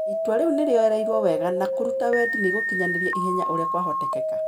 itua riu nirioyereirwo wega na kũruta wendi niigũkinyaniri ihenya ũria kwa hotekeka.